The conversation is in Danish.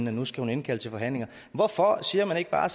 at nu skal hun indkalde til forhandlinger hvorfor siger man ikke bare